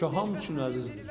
Şuşa hamı üçün əzizdir.